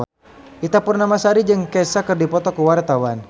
Ita Purnamasari jeung Kesha keur dipoto ku wartawan